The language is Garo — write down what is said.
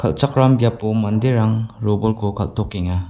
kal·chakram biapo manderang robolko kal·tokenga.